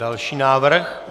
Další návrh?